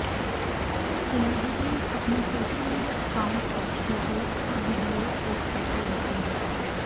celebrities अपने social media account पर photos और विडियोज पोस्ट करते रहते हैं